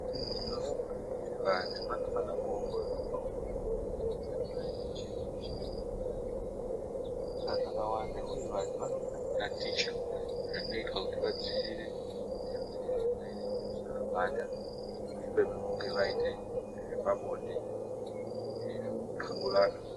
Inini ndinofunge kuti vantu vanofana kuongororwa ropa vasati vaite chiri ngechiri. Ngekuti zvinoitika zvakawanda uye vantu vanofana kutaticha zvinoitwa kuti vadzirire zvimweni zvirwere kuti zvisabata. Mushure mekunge vaite zvepabonde, uye zvekuxeburana.